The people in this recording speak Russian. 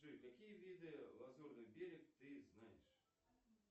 джой какие виды лазурный берег ты знаешь